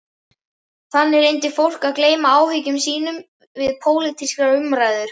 Þannig reyndi fólk að gleyma áhyggjum sínum við pólitískar umræður.